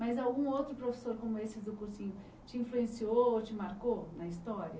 Mas algum outro professor como esse do cursinho te influenciou ou te marcou na história?